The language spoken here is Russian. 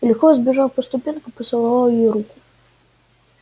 и легко взбежав по ступенькам поцеловал ей руку